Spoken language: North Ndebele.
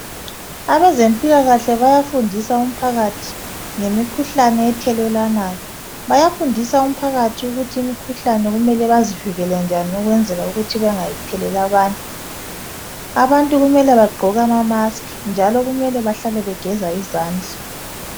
Abezempilakahle bayafundisa umphakathi ngemikhuhlane ethelelwanayo. Bayafundisa umphakathi ukuthi imikhuhlane kumele bazivikele njani ukwenzela ukuthi bengayitheleli abanye. Abantu kumele bagqoke amamask njalo kumele bahlale begeza izandla